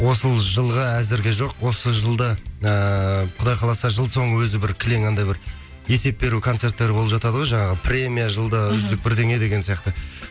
осы жылға әзірге жоқ осы жылда ыыы құдай қаласа жыл соңы өзі бір кілең андай бір есеп беру концерттері болып жатады ғой жаңағы премия жылда үздік мхм бірдеме деген сияқты